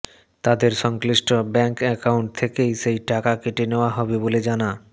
তাঁদের সংশ্লিষ্ট bank account থেকেই সেই টাকা কেটে নেওয়া হবে বলে জানা